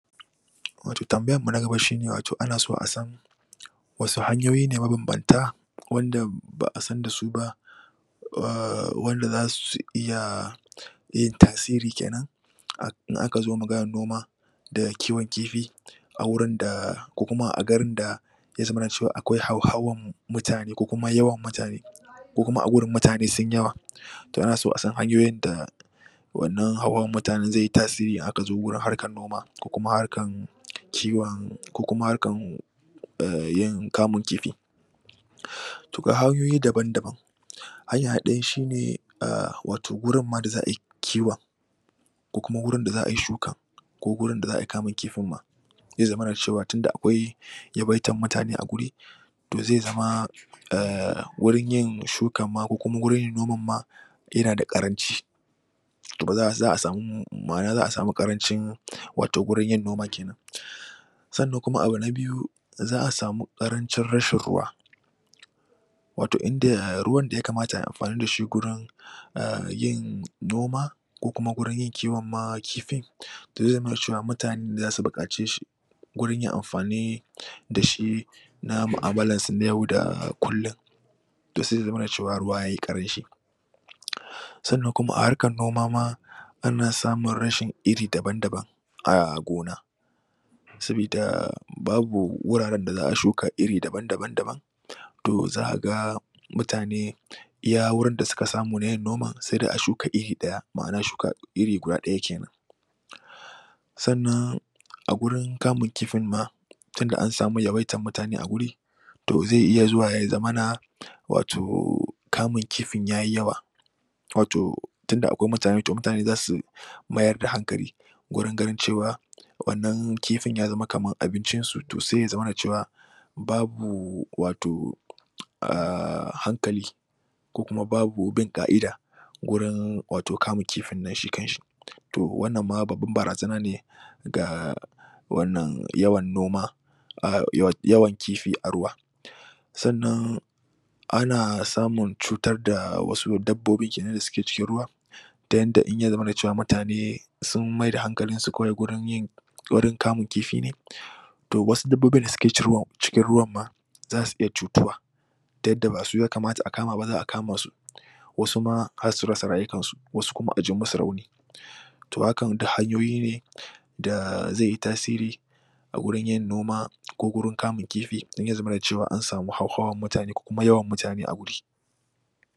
Wato tanbayar ta gaba shine ana so asan wanne hanyoyi ne mabanbanta wanda ba a san da su ba aahh za su iya yin tasiri kenan in a ka zo maganar noma, da kiwon kifi, a garin da ya zamana cewa akwai hauhawan mutane ko kuma yawan mutane, ko kuma a gurin mutane sun yi yawa? To ana so a san hanyoyin wannan hauhawan mutanen z\ai yi tasiri in aka zo wurinharkar noma ko kuma harkan kiwon, ko kuma harkan ehhn kamun kifi. To ga hanyoyi dabam-dabam, hanya ta ɗaya shine wato gurin ma da za ai kiwon ko kuma wurin da za ai shukar ko gurin da za ai kamun kifin ma, zai zamana da cewa tunda akwai yabaitar mutane a guri, to zai zama ehh wurin yin shukarma ko kuma wurin noman ma yana da ƙaranci. To ba za' a, ma'ana za a samu ƙarancin wato wurin yin noma kenan, Sannan kuma abu na biyu; Za'a sami karancin rashin ruwa. wato inda ruwan da ya kamata ayi amfani da shi gurin ehh yin noma, ko kuma gurin kiwonma kifin, to zai zamana ceqwa mutane ne za su buƙace shi gurin yin amfani, da shi na mu'amullar su na yau da kullum. To sai ya zamana cewa ruwa yayi ƙaranci sannan kuma a harkar noma ana samun rashin iri daban-daban, a gona sabida babu wuraren da za'a noma iri daban daban to za ka ga mutane iya wurin da suka samu na yin noman, sai dai a shuka iri ɗaya ma'ana iri guda ɗaya kenan. Sannan a gurin kamun kifin ma, tunda an samu yawaitar mutane a wurin to zai iya zuwa ya zamana wato kamun kifin yayi yawa. Wato tunda akwai mutane, to mutane za su mayar da hankali gurin ganin cewa, wannan kifin ya zama kamar abincin su to sai ya zamana cewa, babu wato aahh hankali ko kuma babu bin ka'ida gurin wato kamun kifin nashi to wannan ma babban barazana ne ga wannan yawan noma ahh yawan kifi a ruwa. Sannan, ana samun cutar da wasu dabbobi kenan da suke cikin ruwa, ta yadda in ya zamana cewa mutane sun mai da hankalinsukawai wurin wurin kamun kifi ne to wasu dabbobin da suke cikin ruwan ma, za su iya cutuwa, ta yadda ba su ya kamata a kama ba za a kama su wasu ma har su rasa rayukansu ko kuma a ji musu rauni. To hakan duk hanyoyi ne da zai yi tasiri a gurin yin noma ko gurin kamun kifi, in ya zamana cewa an samu haujawan mutane ko kuma yawan mutane a wuri.